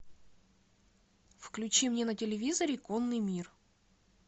включи мне на телевизоре конный мир